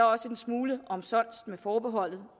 også en smule omsonst med forbeholdet